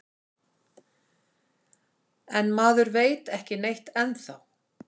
En maður veit ekki neitt ennþá